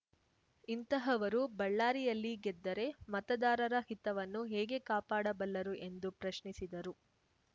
ಇಂತಹವರು ಬಳ್ಳಾರಿಯಲ್ಲಿ ಗೆದ್ದರೆ ಮತದಾರರ ಹಿತವನ್ನು ಹೇಗೆ ಕಾಪಾಡಬಲ್ಲರು ಎಂದು ಪ್ರಶ್ನಿಸಿದರು